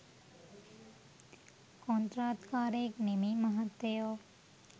කොන්ත්‍රාත්කාරයෙක් නෙමෙයි මහත්තයෝ.